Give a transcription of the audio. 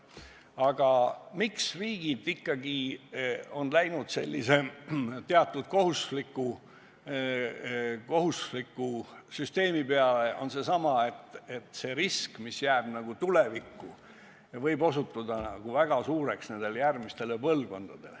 Põhjus, miks riigid ikkagi on valinud teatud kohustuslikkusele rajatud süsteemi, on seesama, et see risk, mis jääb nagu tulevikku, võib järgmistele põlvkondadele väga suureks osutuda.